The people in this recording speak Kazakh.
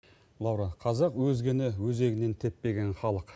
лаура қазақ өзгені өзегінен теппеген халық